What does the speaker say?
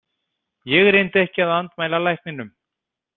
Ég reyndi ekki að andmæla lækninum.